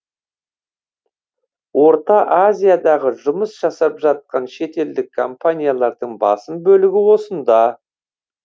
орта азиядағы жұмыс жасап жатқан шетелдік компаниялардың басым бөлігі осында